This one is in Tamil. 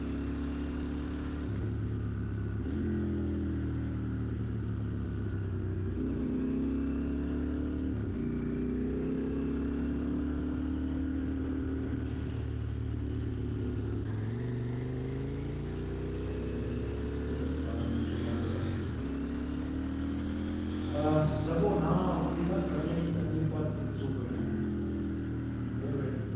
உம் முடிஞ்சிருச்சு பதினஞ்சு நிமிஷம் candle உ அஹ் சகோ நான் அப்படித்தான் கடலைத் தண்ணீர் பாய்ச்சிட்டு super ங்க my favourite